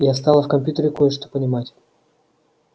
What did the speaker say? я стала в компьютере кое-что понимать